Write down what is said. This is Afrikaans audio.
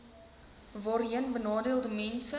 voorheen benadeelde mense